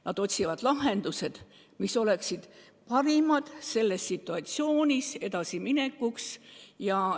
Nad otsivad teisi lahendusi, mis võimaldaksid selles situatsioonis edasi minna.